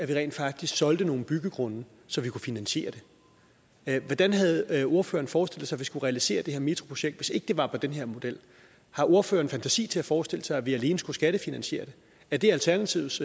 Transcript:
vi rent faktisk solgte nogle byggegrunde så vi kunne finansiere den hvordan havde havde ordføreren forestillet sig vi skulle realisere det her metroprojekt hvis ikke det var efter den her model har ordføreren fantasi til at forestille sig at vi alene skulle skattefinansiere det er det alternativets